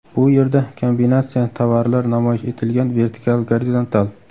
Bu yerda kombinatsiya tovarlar namoyish etilgan vertikal, gorizontal.